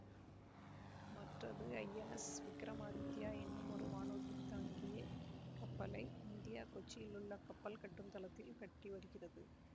மற்றது ஐஎன்எஸ் விக்ரமாதித்யா இன்னுமொரு வானூர்தி தாங்கிய கப்பலை இந்தியா கொச்சியிலுள்ள கப்பல் கட்டும் தளத்தில் கட்டிவருகிறது